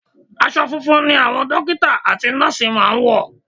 Aṣọ funfun ni àwọn dọ́kítà àti nọ́ọ̀sì máa ń wọ̀.